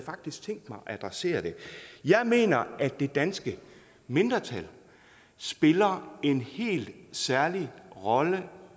tænkt mig at adressere det jeg mener at det danske mindretal spiller en helt særlig rolle